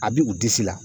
A b'u u disi la